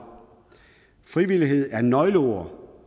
frivillighed er nøgleordet